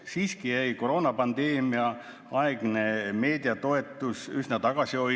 Siiski jäi koroonapandeemia aegne meediatoetus üsna tagasihoidlikuks.